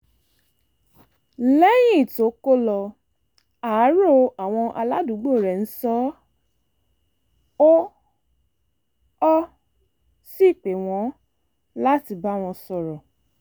lẹ́yìn tó kó lọ àárò àwọn aládùúgbò rẹ̀ ń sọ ọ́ ó sì pè wọ́n láti bá wọn sọ̀rọ̀